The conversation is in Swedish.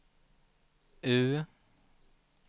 U